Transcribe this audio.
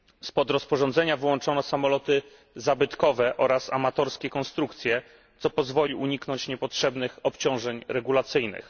Spod rozporządzenia wyłączono samoloty zabytkowe oraz amatorskie konstrukcje, co pozwoli uniknąć niepotrzebnych obciążeń regulacyjnych.